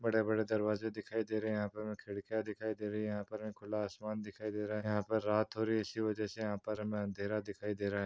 बड़े-बड़े दरवाजे दिखाई दे रहे यहा पे हमे खिड़किया दिखाई दे रहे यहा पर हमे खुला आसमान दिखाई दे रहा यहा पर रात हो रही इसी वजह से यहा पर हमे अंधेरा दिखाई दे रहा है।